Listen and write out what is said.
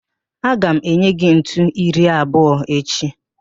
Aga m enye gị ntu iri abụọ echi